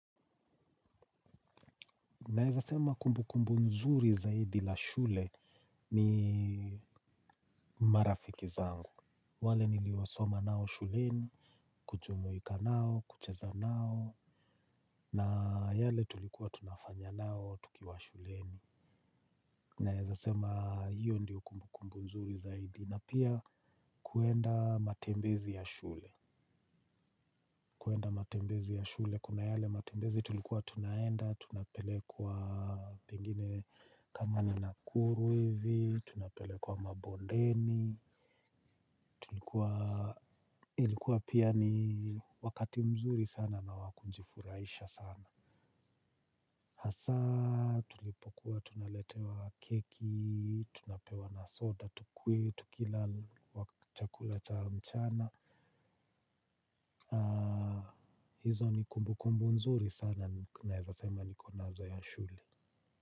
Na eza sema kumbu kumbu nzuri zaidi la shule ni marafiki zangu. Wale niliwasoma nao shuleni, kuchumuika nao, kucheza nao, na yale tulikuwa tunafanya nao tukiwa shuleni. Na eza sema hiyo ndiyo kumbu kumbu nzuri zaidi. Na pia kuenda matembezi ya shule. Kuenda matembezi ya shule kuna yale matembezi tulikuwa tunaenda, tunapelekwa pengine kama ni nakuru hivi. Tunapele kwa mabondeni. Ilikuwa pia ni wakati mzuri sana na wakunjifuraisha sana. Hasa tulipokuwa tunaletewa keki. Tunapewa na soda tukunywe. Tukilala waka chakula cha mchana. Hizo ni kumbukumbu nzuri sana naweza sema niko nazo ya shule.